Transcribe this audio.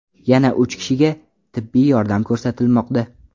Yana uch kishiga tibbiy yordam ko‘rsatilmoqda.